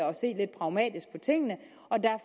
og se lidt pragmatisk på tingene